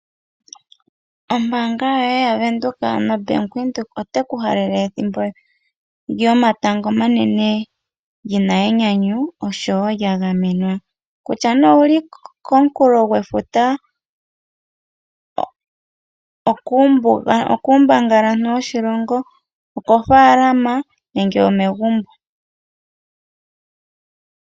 Ombaanga yoye ya Venduka ano Bank Windhoek oteku halele ethimbo lyomatango omanene lina enyanyu oshowo lya gamenwa, kutya nee owuli komunkulo gwefuta ,okuumbangalantu woshilongo, okofaalama nenge omegumbo.